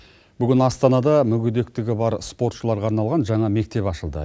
бүгін астанада мүгедектігі бар спортшыларға арналған жаңа мектеп ашылды